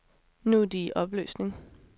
Nu er de i opløsning.